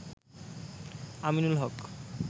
Aminul Haque